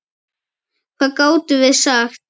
Hvað gátum við sagt?